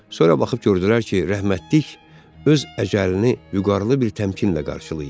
Sonra baxıb gördülər ki, rəhmətlik öz əcəlini vüqarlı bir təmkinlə qarşılayıb.